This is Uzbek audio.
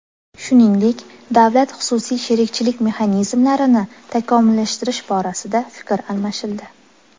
Shuningdek, davlat-xususiy sherikchilik mexanizmlarini takomillashtirish borasida fikr almashildi.